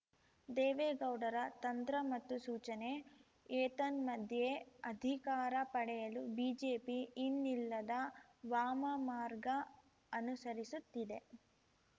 ದೇವೇಗೌಡರ ತಂತ್ರ ಮತ್ತು ಸೂಚನೆ ಏತನ್ಮಧ್ಯೆ ಅಧಿಕಾರ ಪಡೆಯಲು ಬಿಜೆಪಿ ಇನ್ನಿಲ್ಲದ ವಾಮಮಾರ್ಗ ಅನುಸರಿಸುತ್ತಿದೆ